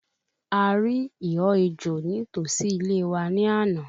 A rí ìhọ́ ejò ní tòsí ilé wa ní àná